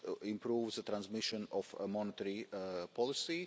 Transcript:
improve the transmission of a monetary policy.